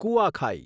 કુઆખાઈ